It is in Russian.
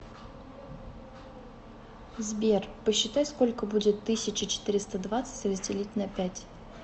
сбер посчитай сколько будет тысяча четыреста двадцать разделить на пять